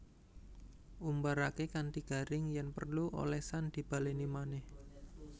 Umbaraké kanthi garing yèn perlu olesan dibalèni manèh